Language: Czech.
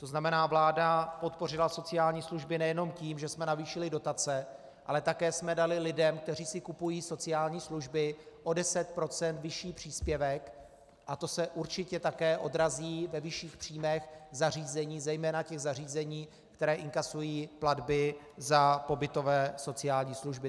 To znamená, vláda podpořila sociální služby nejenom tím, že jsme navýšili dotace, ale také jsme dali lidem, kteří si kupují sociální služby, o 10 % vyšší příspěvek a to se určitě také odrazí ve vyšších příjmech zařízení, zejména těch zařízení, která inkasují platby za pobytové sociální služby.